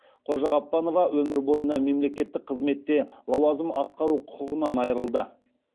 қожағаппанова өмір бойына мемлекеттік қызметте лауазым атқару құқығынан айырылды